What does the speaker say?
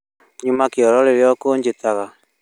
Nyuma kĩoro rĩrĩa ũkũnjĩtaga